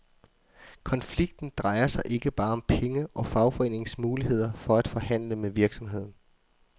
Konflikten drejer sig ikke bare om penge og fagforeningens muligheder for at forhandle med virksomheden.